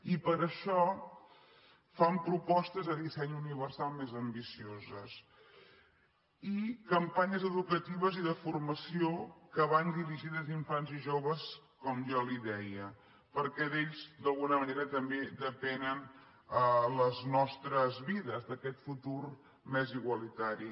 i per això fan propostes de dissenys universal més ambicioses i campanyes educatives i de formació que van dirigides a infants i joves com jo li deia perquè d’ells d’alguna manera també depenen les nostres vides aquest futur més igualitari